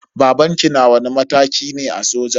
Babanki na wani mataki ne a soja?